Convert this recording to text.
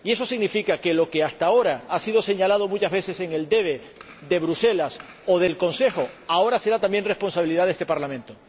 Y eso significa que lo que hasta ahora ha sido señalado muchas veces en el debe de Bruselas o del Consejo ahora será también responsabilidad de este Parlamento.